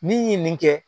Min ye nin kɛ